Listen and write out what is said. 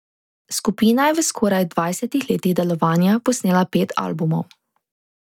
Skupina je v skoraj dvajsetih letih delovanja posnela pet albumov.